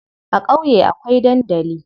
A ƙauye akwai dandali.